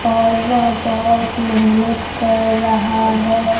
और वह बहोत मेहनत कर रहा है।